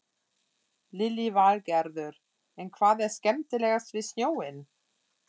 Lillý Valgerður: En hvað er skemmtilegast við snjóinn?